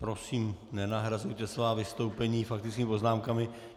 Prosím, nenahrazujte svá vystoupení faktickými poznámkami.